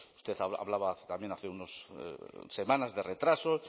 usted hablaba también hace unas semanas de retraso